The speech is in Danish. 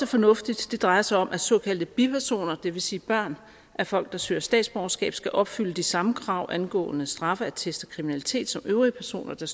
fornuftigt det drejer sig om at såkaldte bipersoner det vil sige børn af folk der søger statsborgerskab skal opfylde de samme krav angående straffeattest og kriminalitet som øvrige personer der